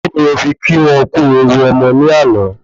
Kí ni o fi kí wọ́n kú ewu ọmọ ni ana